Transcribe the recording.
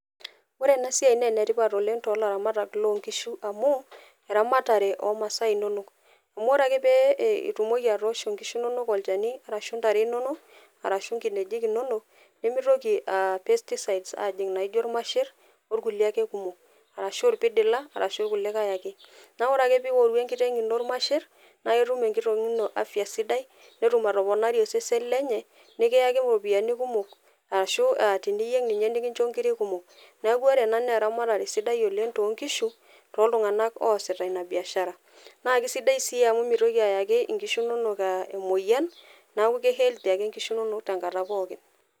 ore ena siai naa enetipat oileng tolaramatak lonkishu amu eramatare omasaa inonok amu pee e itumoki atoosho nkishu inonok olchani arashu intare inonok arashu inkinejik inonok nemitoki uh pesticides ajing naijo irmasherr okulie ake kumok arashu irpidila arashu kulikae ake naku ore ake piworu enkiteng ino irmasherr naa ketum enkiteng ino afya sidai netum atoponari osesen lenye nikiyaki iropiyiani kumok arashu teniyieng ninye nikincho nkirik kumok neku ore ena naa eramatare sidai oleng tonkishu toltung'anak oosita ina biashara naa kisidai sii amu mitoki ayaki inkishu inonok uh emoyian naku ke healthy ake nkishu inonok tenkata pookin.